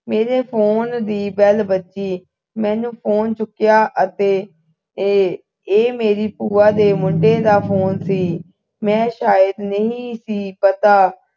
ਮੇਰੇ phone ਦੀ bell ਵੱਜੀ ਮੇਰੇ phone ਚੁੱਕਿਆ ਅਤੇ ਇਹ ਇਹ ਮੇਰੀ ਭੂਆ ਦੇ ਮੁੰਡੇ ਦਾ ਫੋਨ ਸੀ ਮੈ ਸ਼ਾਇਦ ਨਹੀਂ ਸੀ ਪਤਾ